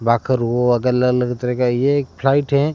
तरह का ये एक फ्लाइट है।